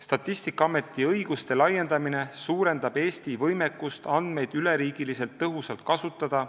Statistikaameti õiguste laiendamine suurendab Eesti võimekust andmeid üle riigi tõhusalt kasutada.